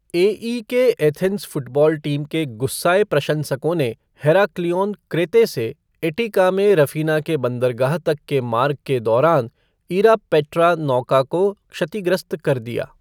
AEK Athens football team के गुस्साए प्रशंसकों ने हेराक्लियोन, क्रेते से एटिका में रफ़ीना के बंदरगाह तक के मार्ग के दौरान 'इरापेट्रा' नौका को क्षतिग्रस्त कर दिया।